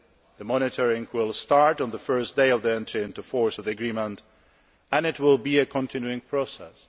The monitoring will start on the first day of the entry into force of the agreement and it will be a continual process.